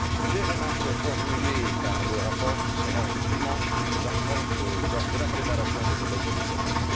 Les remarques formulées dans le rapport seront dûment prises en compte lors de la préparation de nouvelles initiatives.